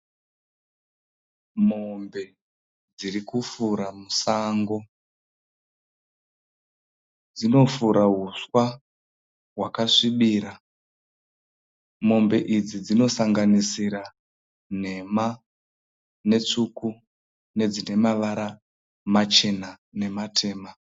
Mombe dziri kufura musango. Dzinofura huswa hwakasvibira. Mombe idzi dzinosanganisira nhema netsvuku nedzine mavara machena nematema.